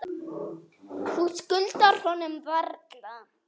Þú skuldar honum varla.